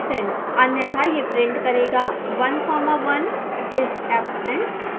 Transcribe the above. अन्य़था यह print करेगा one comma one is absent